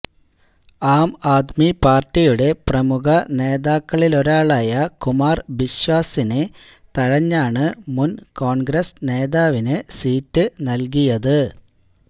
ആംആദ്മി പാർട്ടിയുടെ പ്രമുഖ നേതാക്കളിലൊരാളായ കുമാർ ബിശ്വാസിനെ തഴഞ്ഞാണ് മുൻ കോൺഗ്രസ് നേതാവിന് സീറ്റ് നൽകിയത്